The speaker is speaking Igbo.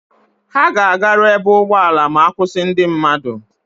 Ha ga-agaru ebe ụgbọala ma-akwụsị ndị mmadụ.